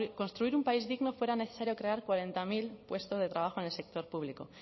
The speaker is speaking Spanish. construir un país digno fuera necesario crear cuarenta mil puestos de trabajo en el sector público